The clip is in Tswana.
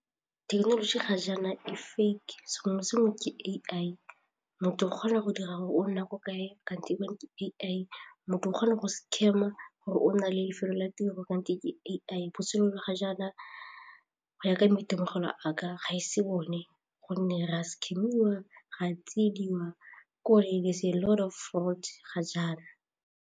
Thekenoloji ga jaana e fake, sengwe le sengwe ke A_I, motho o kgona go dira gore o nna ko kae kgante ke A_I, motho o kgona go scam gore o na le lefelo la tiro kgante ke A_I botshelo ba ga jaana go ya ka maitemogelo a ka ga ise bone gonne re a scam-iwa, re a tsiediwa ke'ore there is a lot of fraud ga jaana.